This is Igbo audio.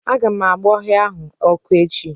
Aga m agba ọhịa ahụ ọkụ echi.